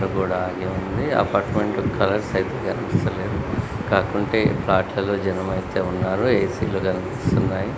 ఆ గోడ అలాగే ఉంది అపార్ట్మెంట్స్ కలర్స్ అయితే కనిపిస్తా లేదు. కాకుంటే వాటిల్లో జనం అయితే ఉన్నారు ఏ_సీ లు కనిపిస్తున్నాయి.